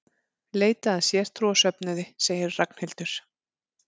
Leita að sértrúarsöfnuði sagði Ragnhildur.